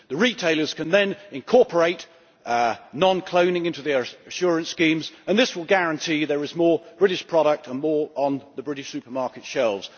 The retailers can then incorporate non cloning into their assurance schemes and this will guarantee that there are more British products on British supermarket shelves.